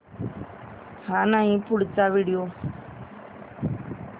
हा नाही पुढचा व्हिडिओ